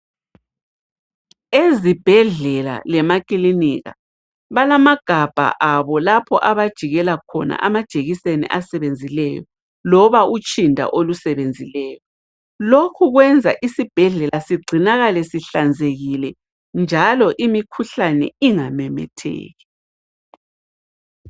Ezibhedlela lemakilinika balamagabha abo lapha abajikela khona amajekiseni asebenzileyo, loba utshinda olusebenzileyo. Lokhu kwenza isibhedlela sigcinakale sihlanzekile njalo imikhuhlane ingamemetheki.